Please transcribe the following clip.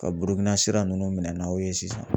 Ka Burukira nunnu minɛ n'aw ye sisan.